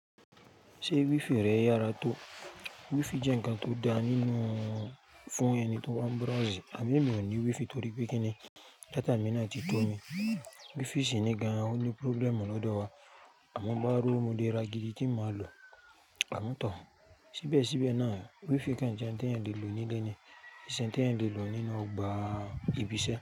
Ṣé wifi rẹ yára tó? Wifi jẹ́ ǹnkan tó da nínú fún ẹni tó ń wá browse. Àmọ́ èmi ò ní wifi torí pé kíni data mi náà ti tó mi. Wifi sì ní gan-an ó ní problem lọ́dọ̀ wa. Àmọ́ n bá ró wo mo lè ra gidi kín màá lò, ámọ́ to o. Síbẹ̀síbẹ̀ náà, wifi kan jẹ́ ǹ tí ẹ̀eyan lè lò nílé ni, n ṣẹ̀ n tí ẹ̀eyan lè lò nínú ọgbà ìbisẹ́.